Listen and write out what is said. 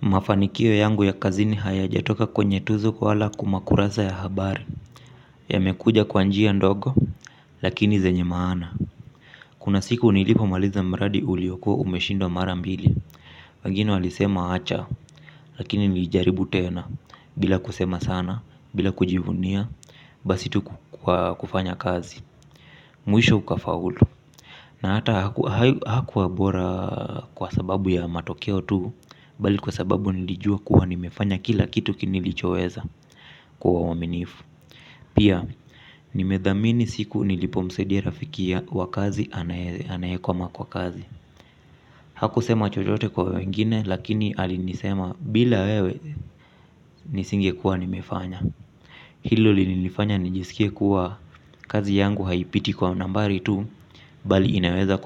Mafanikio yangu ya kazini hayajatoka kwenye tuzo wala kwa makurasa ya habari, yamekuja kwa njia ndogo lakini zenye maana. Kuna siku nilipomaliza mradi uliokua umeshindwa mara mbili. Wengine walisema wacha, lakini nilijaribu tena bila kusema sana bila kujivunia basi tu kwa kufanya kazi. Mwisho ukafaulu. Na hata hakuwa bora kwa sababu ya matokeo tu, bali kwa sababu nilijua kuwa nimefanya kila kitu kinichoweza kwa uaminifu. Pia, nimethamini siku nilipomsaidia rafiki wa kazi anayekoma kwa kazi. Hakusema chochote kwa wengine, lakini alinisema bila wewe nisingekuwa nimefanya. Hilo linilifanya nijisikie kuwa kazi yangu haipiti kwa nambari tu, bali inaweza